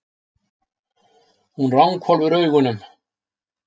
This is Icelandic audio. Hún ranghvolfir augunum.